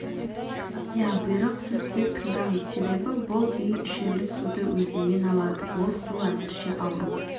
ия бұйрық сіз тек тыңдаңыз себебі бұл үй ішерлік суды өзеннен алады ол су әзірше ауру